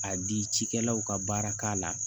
A di cikɛlaw ka baara k'a la